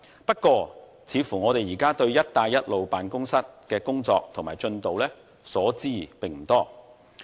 不過，我們對"一帶一路"辦公室的工作及進度卻所知不多。